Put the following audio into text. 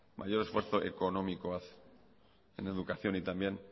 mayor esfuerzo económico hace en educación y también